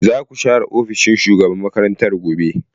Zaku share ofishin shugaban makarantar gobe.